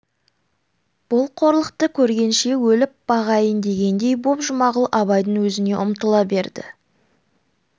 бұл қорлықты көргенше өліп бағайын дегендей боп жұмағұл абайдың өзіне ұмтыла берді